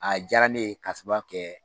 A diyara ne ye k'a sababuya kɛ